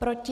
Proti?